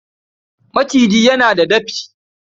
Maciji yana da dafi.